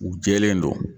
U jɛlen don